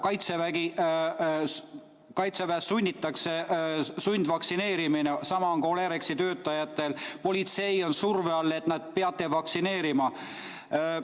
Kaitseväes on sundvaktsineerimine, sama on ka Olerexi töötajatel, politsei on surve all, et peate vaktsineerima.